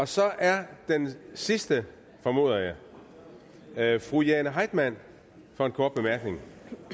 så er den sidste formoder jeg jeg fru jane heitmann for en kort bemærkning